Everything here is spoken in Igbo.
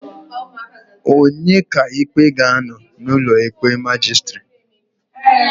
Onye ọka ikpe ga-anọ n'ụlọ ikpe majistiri